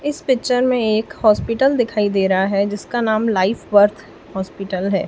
इस पिक्चर में एक हॉस्पिटल दिखाई दे रहा है जिसका नाम लाइफ वर्थ हॉस्पिटल है।